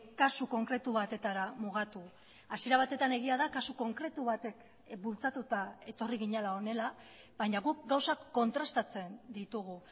kasu konkretu batetara mugatu hasiera batetan egia da kasu konkretu batek bultzatuta etorri ginela honela baina guk gauzak kontrastatzen ditugu